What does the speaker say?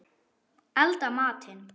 Elda matinn.